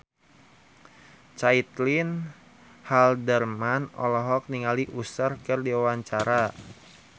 Caitlin Halderman olohok ningali Usher keur diwawancara